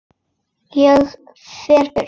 Ég fer burt.